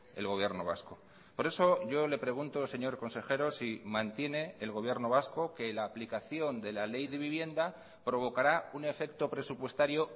el gobierno vasco por eso yo le pregunto señor consejero si mantiene el gobierno vasco que la aplicación de la ley de vivienda provocará un efecto presupuestario